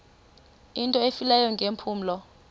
into efileyo ngeempumlo